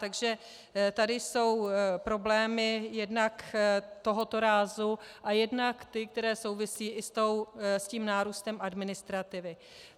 Takže tady jsou problémy jednak tohoto rázu a jednak ty, které souvisí i s tím nárůstem administrativy.